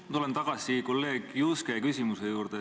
Ma tulen tagasi kolleeg Juske küsimuse juurde.